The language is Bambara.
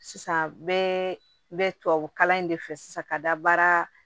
Sisan bɛɛ bɛ tubabukalan in de fɛ sisan ka da baara